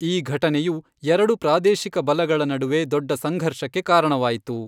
ಈ ಘಟನೆಯು ಎರಡು ಪ್ರಾದೇಶಿಕ ಬಲಗಳ ನಡುವೆ ದೊಡ್ಡ ಸಂಘರ್ಷಕ್ಕೆ ಕಾರಣವಾಯಿತು.